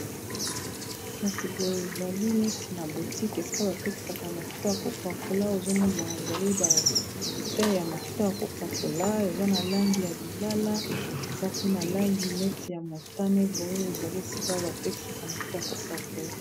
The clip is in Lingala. kasi boye ezali neti na botique esika batekisaka mafuta ya kopakola ozomona ezali babute ya mafuta ya kopakola eza na langi ya lilala eza pe na langi neti ya motane boye ezali sika batekisaka mafuta ya kopakola